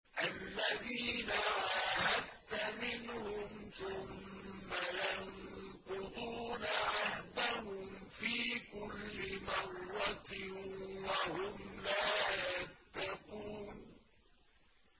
الَّذِينَ عَاهَدتَّ مِنْهُمْ ثُمَّ يَنقُضُونَ عَهْدَهُمْ فِي كُلِّ مَرَّةٍ وَهُمْ لَا يَتَّقُونَ